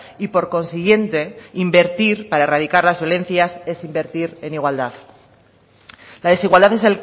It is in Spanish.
y por consiguiente invertir para erradicar las violencias es invertir en igualdad la desigualdad es